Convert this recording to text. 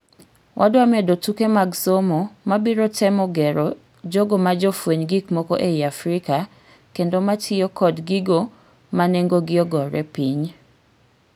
Wadwa medo tuke mag somoi mabiro temo gero jogo majofueny gik moko ei Africa kendo matiyo kod gigo manengogi ogore piny.